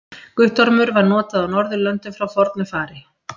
Guttormur var notað á Norðurlöndum frá fornu fari.